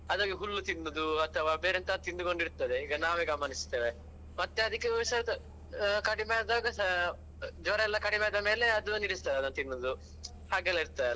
ಅದ್ ಹೋಗಿ ಹುಲ್ಲು ತಿನ್ನುದು ಅಥವಾ ಬೇರೆ ಎಂತಾದ್ರೂ ತಿಂದುಕೊಂಡು ಇರ್ತದೆ ಈಗ ನಾವೇ ಗಮನಿಸ್ತೇವೆ ಮತ್ತೆ ಅದಿಕ್ಕೆ ಹುಷಾರ್ ಕಡಿಮೆಯಾದಾಗ ಜ್ವರಯೆಲ್ಲ ಕಡಿಮೆಯಾದ ಮೇಲೆ ಅದುವೇ ನಿಲ್ಲಿಸ್ತದೆ ಅದನ್ನು ತಿನ್ನುದು ಹಾಗೆಲ್ಲ ಇರ್ತದಲ್ವಾ.